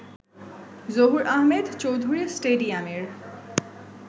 জহুর আহমেদ চৌধুরী স্টেডিয়ামের